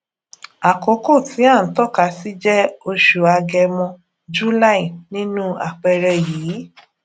àkókò tí à ń tọkasí jẹ oṣù agẹmọ july nínu àpẹẹrẹ yìí